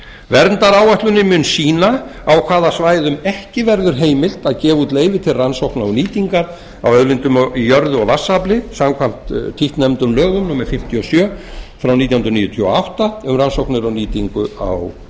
verndaráætlunin mun sýna á hvaða svæðum ekki verður heimilt að gefa út leyfi til rannsókna og nýtingar á auðlindum í jörðu og vatnsafli samkvæmt títtnefndum lögum númer fimmtíu og sjö nítján hundruð níutíu og átta um rannsóknir og nýtingu á